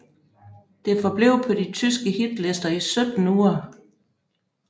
Det forblev på de tyske hitlister i 17 uger